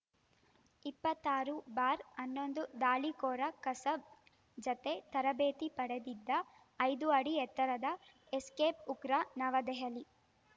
ಇಪ್ಪತ್ತಾರು ಬಾರ್ ಹನ್ನೊಂದು ದಾಳಿಕೋರ ಕಸಬ್‌ ಜತೆ ತರಬೇತಿ ಪಡೆದಿದ್ದ ಐದು ಅಡಿ ಎತ್ತರದ ಎಸ್ಕೇಪ್‌ ಉಗ್ರ ನವದೆಹಲಿ